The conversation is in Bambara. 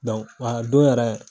wa a don yɛrɛ